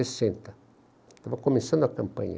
sessenta. Estava começando a campanha.